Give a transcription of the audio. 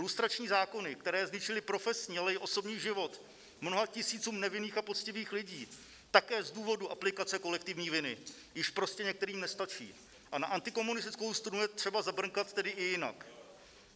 Lustrační zákony, které zničily profesní, ale i osobní život mnoha tisícům nevinných a poctivých lidí, také z důvodu aplikace kolektivní viny, již prostě některým nestačí a na antikomunistickou strunu je třeba zabrnkat tedy i jinak.